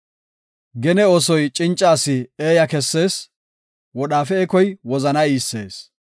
Gene oosoy cinca asi eeya kessees; wodhaafe ekoy wozana iissees.